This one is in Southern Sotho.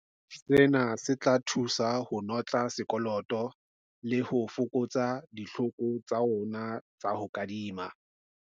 Sena se tla thusa ho notla sekoloto le ho fokotsa ditlhoko tsa rona tsa ho kadima.